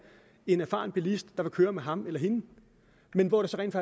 en erfaren bilist der vil køre med ham eller hende men hvor det så rent